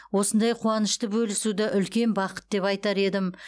осындай қуанышты бөлісуді үлкен бақыт деп айтар едім